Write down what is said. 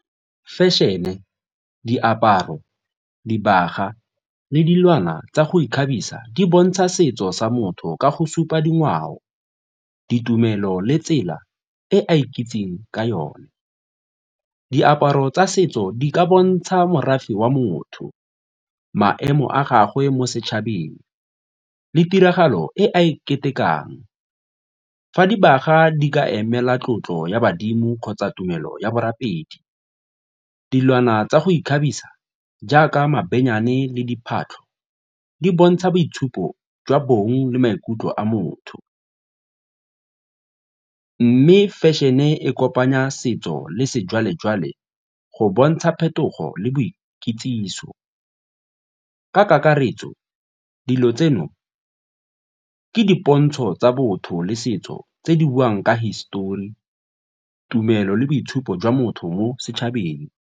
Fešene, diaparo, dibaga le dilwana tsa go ikgabisa di bontsha setso sa motho ka go supa dingwao, ditumelo le tsela e a ikitseng ka yone. Diaparo tsa setso di ka bontsha morafe wa motho, maemo a gagwe mo setšhabeng le tiragalo e a iketle rekang. Fa dibaga di ka emela tlotlo ya badimo kgotsa tumelo ya borapedi, dilwana tsa go ikgabisa jaaka mabenyane le diphatlo di bontsha boitshupo jwa bong le maikutlo a motho mme fashion-e kopanya setso le sejwalejwale go bontsha phetogo le boikitsiso. Ka kakaretso dilo tseno ke dipontsho tsa botho le setso tse di buang ka histori, tumelo le boitshupo jwa motho mo setšhabeng.